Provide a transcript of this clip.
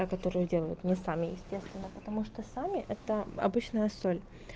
та которую делают не сами естественно потому что сами это обычная соль